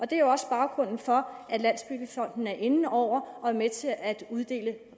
det er også baggrunden for at landsbyggefonden er inde over og er med til at uddele